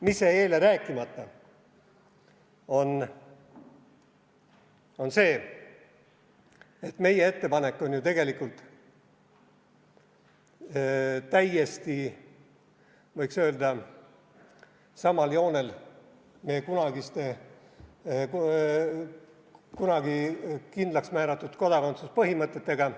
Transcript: Mis jäi eile rääkimata, et meie ettepanek on ju tegelikult täiesti samal joonel meie kunagi kindlaks määratud kodakondsuspõhimõtetega.